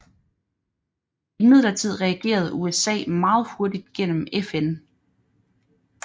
Imidlertid reagerede USA meget hurtigt gennem FN